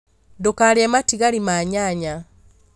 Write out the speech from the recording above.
Ndũkarĩe matigari ma nyanya